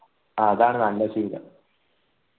ആ അതാണ് നല്ല ശീലം